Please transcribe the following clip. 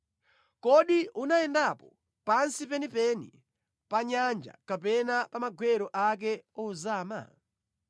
“Kodi unayendapo pansi penipeni pa nyanja kapena pa magwero ake ozama?